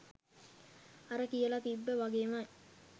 අර කියල තිබ්බ වගේම